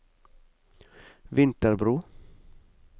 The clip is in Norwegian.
Vinterbro